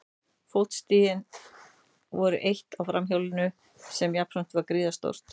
Fótstigin voru eitt sinn á framhjólinu sem jafnframt var gríðarstórt.